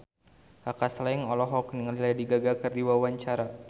Kaka Slank olohok ningali Lady Gaga keur diwawancara